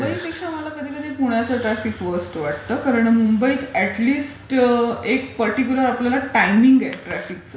मुंबईपेक्षा कधी कधी मला पुण्याचं ट्राफिक व्हर्स्ट वाटतं कारण मुंबईत अॅट लिस्ट एक पर्टीक्युलरआपल्याला टायमिंग आहे ट्राफिकचं.